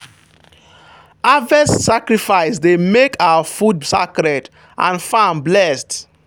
harvest sacrifice dey make our food sacred and farm blessed.